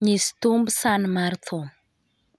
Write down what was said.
Nyis thumb san mar thum